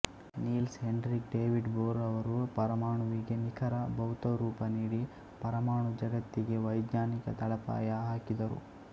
Niels Henrik David Bohr ರವರು ಪರಮಾಣುವಿಗೆ ನಿಖರ ಭೌತರೂಪ ನೀಡಿ ಪರಮಾಣು ಜಗತ್ತಿಗೆ ವೈಜ್ಞಾನಿಕ ತಳಪಾಯ ಹಾಕಿದರು